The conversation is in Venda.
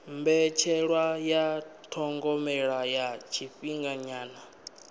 mbetshelwa ya thogomelo ya tshifhinganyana